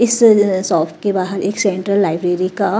इस सॉफ के बाहर एक सेंट्रल लाइब्रेरी का।